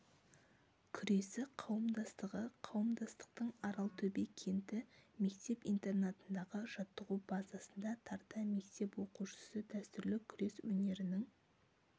күресі қауымдастығы қауымдастықтың аралтөбе кенті мектеп интернатындағы жаттығу базасында тарта мектеп оқушысы дәстүрлі күрес өнерінің